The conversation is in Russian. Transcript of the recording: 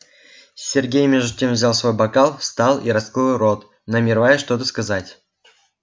сергей между тем взял свой бокал встал и раскрыл рот намереваясь что-то сказать